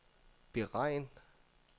beregn